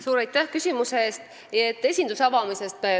Suur aitäh küsimuse eest!